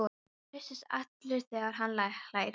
Og hristist allur þegar hann hlær.